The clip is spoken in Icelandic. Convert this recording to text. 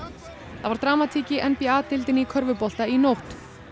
það var dramatík í n b a deildinni í körfubolta í nótt